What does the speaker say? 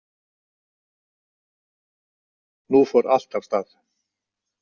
Nú fór allt af stað.